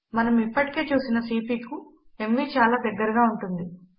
మనము ఇప్పటికే చూసిన సీపీ కు ఎంవీ చాలా దగ్గరగా ఉంటుంది